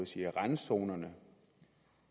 sige at randzonerne